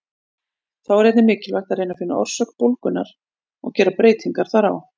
Þá er einnig mikilvægt að reyna að finna orsök bólgunnar og gera breytingar þar á.